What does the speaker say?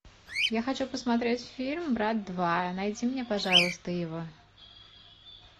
я хочу посмотреть фильм брат два найди мне пожалуйста его